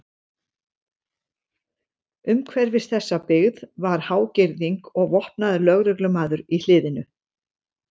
Umhverfis þessa byggð var há girðing og vopnaður lögreglumaður í hliðinu.